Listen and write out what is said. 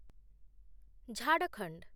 Jharkhand